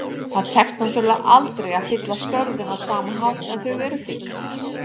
Það tekst náttúrulega aldrei að fylla skörðin á sama hátt en þau eru fyllt.